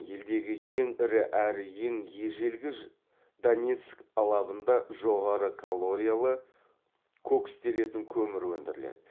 елдегі ең ірі әрі ең ежелгі донецк алабында жоғары калориялы кокстелетін көмір өндіріледі